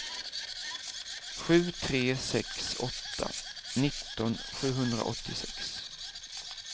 sju tre sex åtta nitton sjuhundraåttiosex